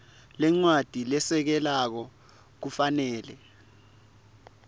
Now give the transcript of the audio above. lencwadzi lesekelako kufanele